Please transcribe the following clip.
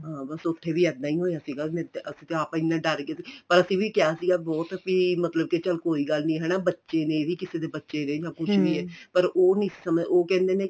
ਬੱਸ ਉੱਥੇ ਵੀ ਇੱਦਾਂ ਹੀ ਹੋਇਆ ਸੀਗਾ ਅਸੀਂ ਤੇ ਆਪ ਐਨੇਂ ਡਰ ਗਏ ਪਰ ਅਸੀਂ ਵੀ ਕਿਹਾ ਸੀਗਾ ਬਹੁਤ ਵੀ ਮਤਲਬ ਕੇ ਚੱਲ ਕੋਈ ਗੱਲ ਨਹੀਂ ਹਨਾ ਬੱਚੇ ਨੇ ਇਹ ਵੀ ਕਿਸੇ ਦੇ ਬੱਚੇ ਨੇ ਕੁੱਛ ਵੀ ਏ ਪਰ ਉਹ ਨਹੀਂ ਉਹ ਕਹਿੰਦੇ ਨੇ